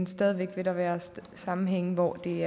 stadig væk være sammenhænge hvor det